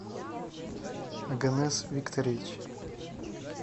оганес викторович